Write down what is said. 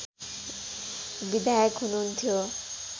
विधायक हुनुहुन्थ्यो